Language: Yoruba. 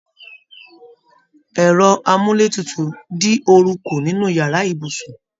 Ẹrọ amuletutu din ooru kú nínú yàrá ibùsùn.